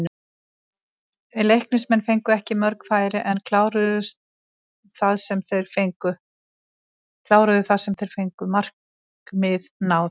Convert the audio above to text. Leiknismenn fengu ekki mörg færi en kláruðu það sem þeir fengu, markmið náð?